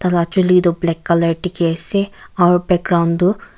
tai la chuli toh black colour dikhi ase aru background tu.